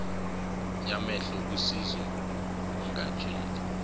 yamehlo usize ungatsheli